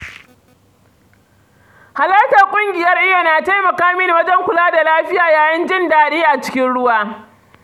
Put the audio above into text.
Halartar ƙungiyar iyo na taimaka mini wajen kula da lafiya yayin jin daɗin a cikin ruwa.